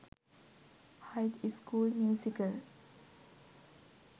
high school musical